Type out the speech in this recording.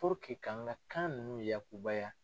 k'an ka kan ninnu yaakuba ya.